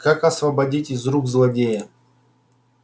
как освободить из рук злодея